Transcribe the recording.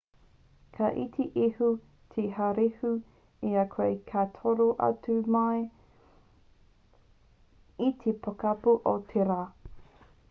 ka iti iho te haurehu i a koe ka toro atu ai mai i te pokapū o te rā